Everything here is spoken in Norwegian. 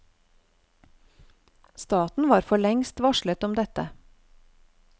Staten var forlengst varslet om dette.